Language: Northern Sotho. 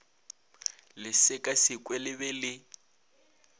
le sekasekwe le be le